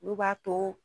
Olu b'a to